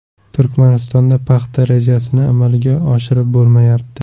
Turkmanistonda paxta rejasini amalga oshirib bo‘lmayapti.